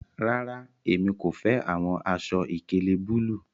Rara, emi ko fẹ awọn aṣọ-ìkéle bulu